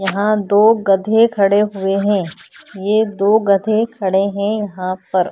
यहा दो गधे खड़े हुए है ये दो गधे खड़े है यहा पर --